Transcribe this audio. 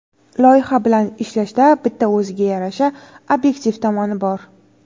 Loyiha bilan ishlashda bitta o‘ziga yarasha obyektiv tomoni bor.